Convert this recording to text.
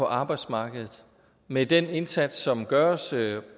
på arbejdsmarkedet med den indsats som gøres